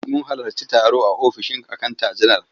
Mun halarci taro a ofishin akanta general.